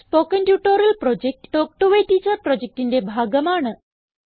spoken tutorial project talk to a teacher പ്രൊജക്റ്റിന്റെ ഭാഗമാണ്